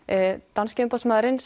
danski umboðsmaðurinn